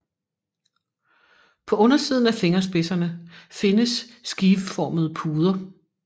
På undersiden af fingerspidserne findes skiveformede puder